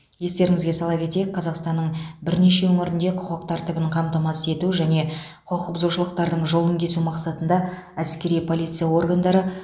естеріңізге сала кетейік қазақстанның бірнеше өңірінде құқық тәртібін қамтамасыз ету және құқық бұзушылықтардың жолын кесу мақсатында әскери полиция органдары